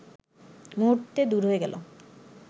মুহূর্তে দূর হয়ে গেল